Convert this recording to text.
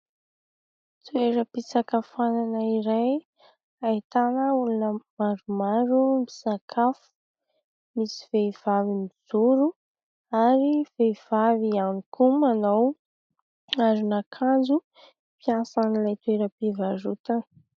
Toeram-pisakafoanana iray ahitana olona maromaro misakafo ; misy vehivavy mijoro ary vehivavy ihany koa manao aron'akanjo ; mpiasan'ilay toeram-pivarotana.